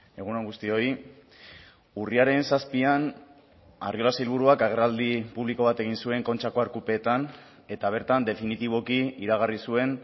egun on guztioi urriaren zazpian arriola sailburuak agerraldi publiko bat egin zuen kontxako arkupetan eta bertan definitiboki iragarri zuen